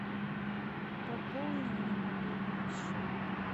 пополни мне мобильный счет